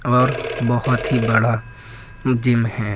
और बहोत ही बड़ा जिम है।